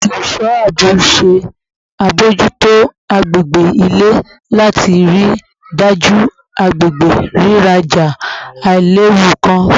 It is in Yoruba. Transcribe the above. Awọn oluso aabo ṣe abojuto agbegbe ile lati rii daju agbegbe riraja ailewu kan